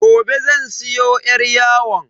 Gobe zan siyo yar yawon.